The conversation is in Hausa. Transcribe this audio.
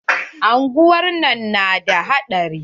Unguwar nan na da haɗari.